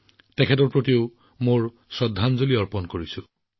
মই গোবিন্দ গুৰুজীলৈ মোৰ শ্ৰদ্ধাঞ্জলি নিবেদন কৰিছো